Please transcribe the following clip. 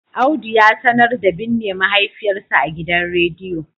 Audu ya sanar da binne mahaifiyarsa a gidan rediyo